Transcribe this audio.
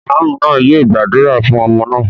Ìmáámù náà yóò gbàdúrà fún ọmọ náà.